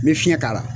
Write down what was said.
N bɛ fiɲɛ k'a la